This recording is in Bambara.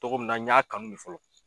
Togomin na n y'a kanu de fɔlɔ